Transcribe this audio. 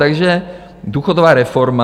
Takže důchodová reforma.